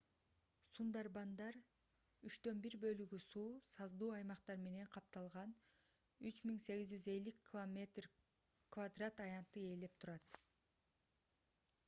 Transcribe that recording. сундарбандар 1/3 бөлүгү суу/саздуу аймактар менен капталган 3,850 км² аянтты ээлеп турат